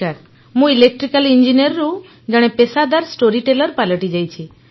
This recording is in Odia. ମୁଁ ଇଲେକ୍ଟ୍ରିକାଲ୍ ଇଂଜିନିୟରରୁ ଜଣେ ପେଶାଦାର ଷ୍ଟୋରି ଟେଲର ପାଲଟିଯାଇଛି